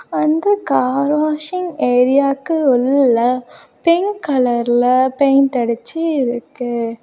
அந்த car washing ஏரியாக்கு உள்ள பிங்க் கலர்ல பெயிண்ட் அடிச்சு இருக்கு.